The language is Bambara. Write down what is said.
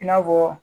I n'a fɔ